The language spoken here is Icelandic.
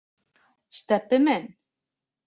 Stebbi minn.